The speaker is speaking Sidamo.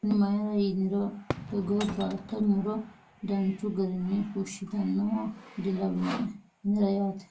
Ani. Mayiira yiniro togoo baatto muro danchu garii fushshitannoha dilawinoe anera yaate.